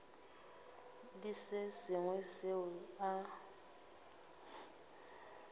le se sengwe seo a